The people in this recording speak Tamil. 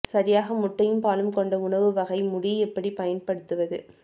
சரியாக முட்டையும் பாலும் கொண்ட உணவு வகை முடி எப்படி பயன்படுத்துவது